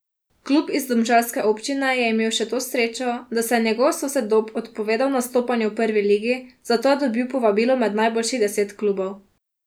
Klub iz domžalske občine je imel še to srečo, da se je njegov sosed Dob odpovedal nastopanju v prvi ligi, zato je dobil povabilo med najboljših deset klubov.